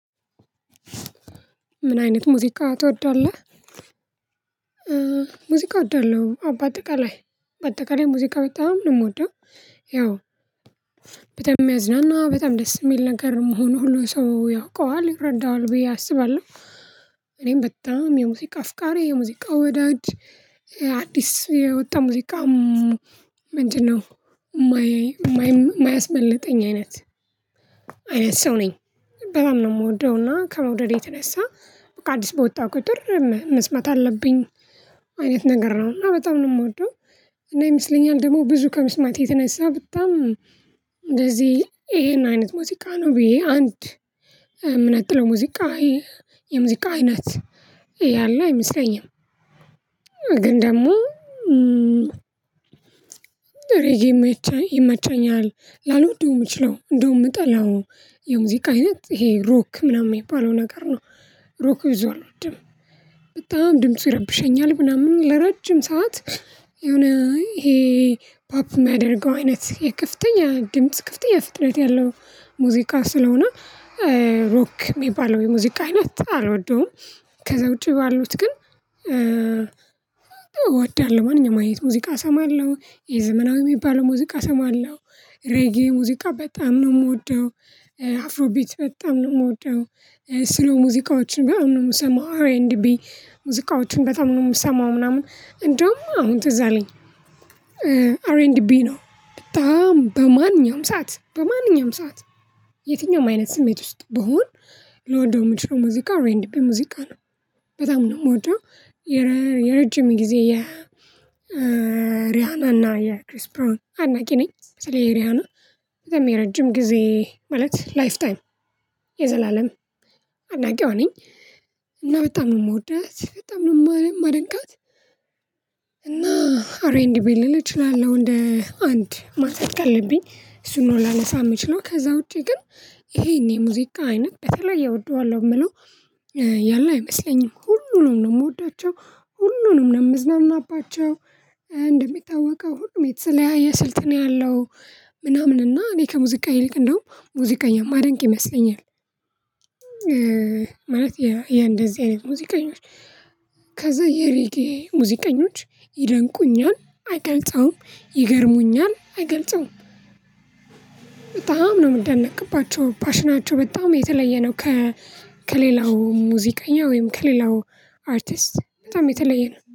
ምን አይነት ሙዚቃ ትወዳለህ? ሙዚቃ እወዳለሁ በአጠቃላይ በአጠቃላይ ሙዚቃ በጣም ነው የምወደው ያው በጣም የሚያዝናና በጣም ደስ የሚል ነገር መሆኑ ሁሉ ሰው ያውቀዋል ይረዳዋል ብዬ አስባለሁ እኔም በጣም የሙዚቃ አፍቃሪ የሙዚቃ ወዳጅ አዲስ የወጣ ሙዚቃ ምንድነው የማያ የማያስመልጠኝ አይነት አይነት ሰው ነኝ በጣም ነው የምወደው እና ከመውደዴ የተነሳ በቃ አዲስ በወጣ ቁጥር መስማት አለብኝ አይነት ነገር ነው እና በጣም ነው የምወደው እና ይመስለኛል ደግሞ ብዙ ከመስማቴ የተነሳ በጣም እንደዚህ ይሄን አይነት ሙዚቃ ነው ብዬ አንድ የምነጥለው ሙዚቃ የሙዚቃ አይነት ያለው አይመስለኝም ግን ደግሞ ሬጌ ይመቸኛል ያውው ልወደው የምችለው እንደውም የምጠላው የሙዚቃ አይነት ይሄ ሮክ ምናምን የሚባለው ነገር ነው ሮክ ብዙ አልወድም በጣም ድምፁ ይረብሸኛል ምናምን ለረጅም ሰዓት የሆነ ይሄ ፓፕ የሚያደርገው አይነት የክፍተኛ ግምት ክፍተኛ ፍጥነት ያለው ሙዚቃ ስለሆነ ሮክ የሚባለው የሙዚቃ አይነት አልወደውም ከዛ ውጪ ባሉት ግን እወዳለሁ ማንኛውም አይነት ሙዚቃ እሰማለሁ የዘመናዊ የሚባለው ሙዚቃ እሰማለሁ ሬጌ ሙዚቃ በጣም ነው የምወደው አፍሮ ቢት በጣም ነው የምወደው ስሎ ሙዚቃዎችን በጣም ነው የምሰማው አር ኤንድ ቢ ሙዚቃዎችን በጣም ነው የምሰማው ምናምን እንደውም አሁን ትዝ አለኝ አርኤንድቢ ነው በጣም በማንኛውም ሰዓት በማንኛውም ሰዓት የትኛውም አይነት ስሜት ውስጥ ብሆን ልወደው የምችለው ሙዚቃ አርኤንድፒ ሙዚቃ ነው በጣም ነው የምወደው የረጅም ጊዜ የሪያና እና የክሪስ ብራውን አድናቂ ነኝ ስለ ሪያና በጣም የረጅም ጊዜ ማለት ላይፍ ታይም የዘላለም አድናቂዋ ነኝ እና በጣም ነው የምወዳት በጣም ነው የማደንቃት እና አር ኤርኤንድቢ ልል እችላለሁ እንደ አንድ ማንሳት ካለብኝ እሱን ነው ላነሳ የምችለው ከዛ ውጪ ግን ይሄን የሙዚቃ አይነት በተለየ እወደዋለሁ የምለው ያለ አይመስለኝም ሁሉንም ነው የምወዳቸው ሁሉንም ነው የምዝናናባቸው እንደሚታወቀው ሁሉም የተለያየ ስልት ነው ያለው ምናምን እና እኔ ከሙዚቃ ይልቅ እንደውም ሙዚቀኛ ማደንቅ ይመስለኛል ማለት የእንደዚህ አይነት ሙዚቀኞች ከዛ የሪጌ ሙዚቀኞች ይደንቁኛል አይገልጸውም ይገርሙኛል አይገልጸውም በጣም ነው የምደነቅባቸው ፓሽናቸው በጣም የተለየ ነው ከ ከሌላው ሙዚቀኛ ወይም ከሌላው አርቲስት በጣም የተለየ ነው